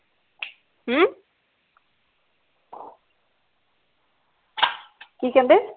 ਹਮ ਕਿ ਕਹਿੰਦੇ